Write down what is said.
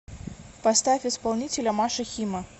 поставь исполнителя маша хима